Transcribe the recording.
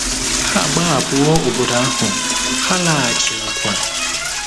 Ha agbahapụwo obodo ahụ, ha alaghachighịkwa.